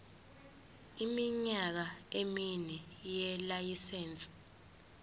iminyaka emine yelayisense